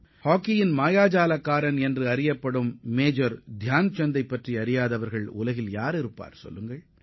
ஹாக்கியின் பிதாமகனாகக் கருதப்படும் மேஜர் தியான்சந்தின் பெயர் உலகம் முழுவதும் பிரசித்திப் பெற்றதாகும்